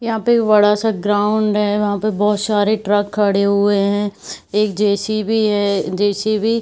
यहा पे एक बडा सा ग्राउंड है। वहाँ पे बहुत सारे ट्रक खड़े हुए है एक जे.सि.बी. है। जे.सि.बी. --